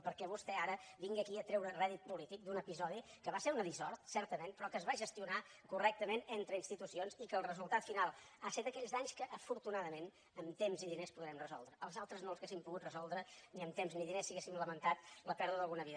perquè vostè ara vingui aquí a treure rèdit polític d’un episodi que va ser una dissort certament però que es va gestionar correctament entre institucions i que el resultat final ha estat d’aquells danys que afortunadament amb temps i diners podrem resoldre els altres no els hauríem pogut resoldre ni amb temps ni diners si haguéssim lamentat la pèrdua d’alguna vida